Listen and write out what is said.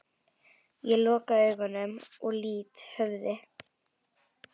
Ég loka augunum og lýt höfði.